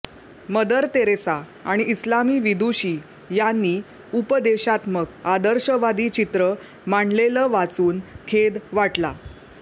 mother Teresa आणि इस्लामी विदुषी यांनी उपदेशात्मक आदर्शवादी चित्र मांडलेलं वाचून खेद वाटला